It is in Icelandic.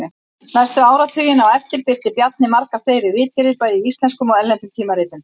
Næstu áratugina á eftir birti Bjarni margar fleiri ritgerðir bæði í íslenskum og erlendum tímaritum.